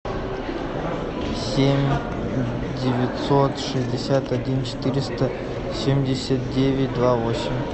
семь девятьсот шестьдесят один четыреста семьдесят девять два восемь